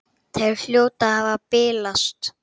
Þær hljóta að hafa bilast!